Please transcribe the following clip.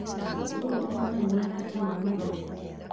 ũũ ũronania bata wa mathako